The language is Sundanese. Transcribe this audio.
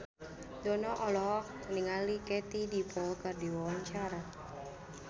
Dono olohok ningali Katie Dippold keur diwawancara